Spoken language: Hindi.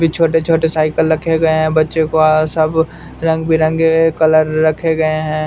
भी छोटे छोटे साइकिल रखे गए हैं बच्चे को आ सब रंग बिरंगे कलर रखे गए हैं।